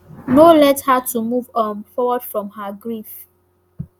no let her to move um forward from her grief